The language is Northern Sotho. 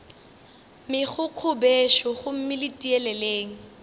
megokgo bešo gomme le tieleleng